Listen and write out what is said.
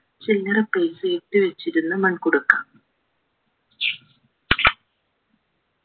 ചില്ലറ പൈസയൊക്കെ വെച്ചിരുന്ന മൺകുടുക്ക